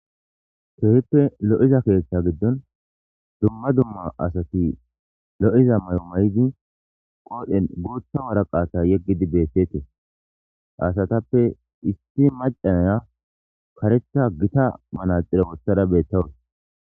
keehippe lo7iza keeththa giddon dumma dumma asati lo7iza may7o may7idi qoodhen gootha waraqata yeggidi beettetee asatappe issi macaaya karetha gita manaxire wothada beettawus